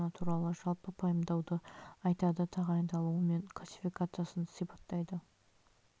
бур жұмыстары үшін машина туралы жалпы пайымдауды айтады тағайындалуы мен классификациясын сипаттайды